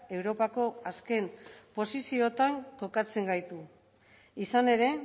europako azken posiziotan kokatzen gaitu izan ere